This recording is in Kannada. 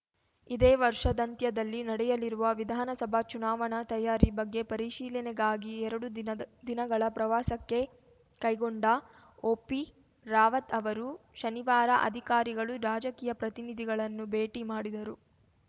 ಇದೇ ವರ್ಷಾದಂತ್ಯದಲ್ಲಿ ನಡೆಯಲಿರುವ ವಿಧಾನಸಭಾ ಚುನಾವಣಾ ತಯಾರಿ ಬಗ್ಗೆ ಪರಿಶೀಲನೆಗಾಗಿ ಎರಡು ದಿನದ್ ದಿನಗಳ ಪ್ರವಾಸಕ್ಕೆ ಕೈಗೊಂಡ ಒಪಿರಾವತ್‌ ಅವರು ಶನಿವಾರ ಅಧಿಕಾರಿಗಳು ರಾಜಕೀಯ ಪ್ರತಿನಿಧಿಗಳನ್ನು ಭೇಟಿ ಮಾಡಿದರು